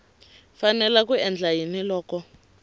fanele ku endla yini loko